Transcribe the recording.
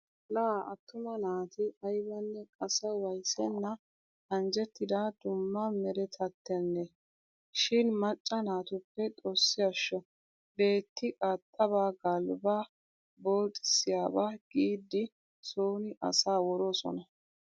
Laa attuma naati aybanne asa waayissenna anjjettida dumma meretattennee. Shin macca naatuppe xoossi ashsho beetti qaaxxabaa galbbaa booxissiyabaa giiddi sooni asaa woroosona.